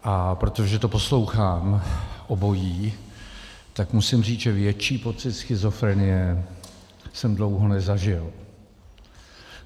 A protože to poslouchám obojí, tak musím říct, že větší pocit schizofrenie jsem dlouho nezažil.